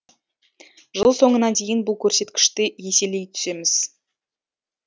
жыл соңына дейін бұл көрсеткішті еселей түсеміз